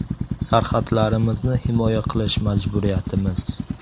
“Sarhadlarimizni himoya qilish majburiyatimiz.